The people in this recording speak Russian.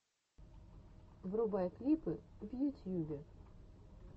врубай клипы в ютьюбе